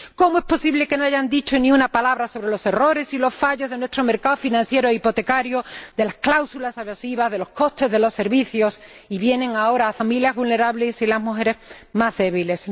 ¿Cómo es posible que no hayan dicho ni una palabra sobre los errores y los fallos de nuestro mercado financiero e hipotecario, de las cláusulas abusivas, de los costes de los servicios, y vienen ahora a cebarse con las familias vulnerables y las mujeres más débiles?